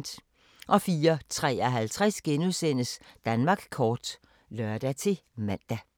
04:53: Danmark kort *(lør-man)